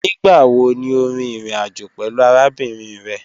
Nigbawo ni o rin irin ajo pẹlu arabinrin rẹ?